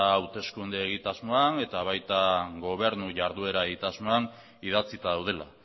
hauteskunde egitasmoan eta baitan gobernu jarduera egitasmoan ere idatzita daudela